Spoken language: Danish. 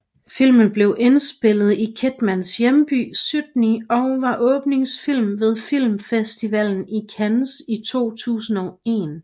Filmen blev indspillet i Kidmans hjemby Sydney og var åbningsfilmen ved Filmfestivalen i Cannes i 2001